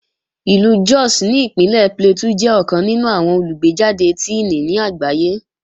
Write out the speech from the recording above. Ìlú Jos ní Ìpínlẹ̀ Plateau jẹ́ ọ̀kan nínú àwọn olùgbéjàde Tíìnì ní àgbáyé